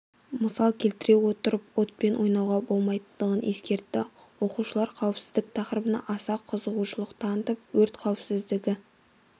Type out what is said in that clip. мысал келтіре отырып отпен ойнауға болмайтынын ескертті оқушылар қауіпсіздік тақырыбына аса қызығушылық танытып өрт қауіпсіздігі